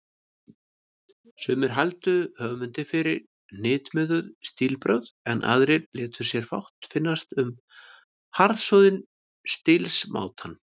Sumir hældu höfundi fyrir hnitmiðuð stílbrögð, en aðrir létu sér fátt finnast um harðsoðinn stílsmátann.